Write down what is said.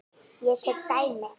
Ég tek dæmi.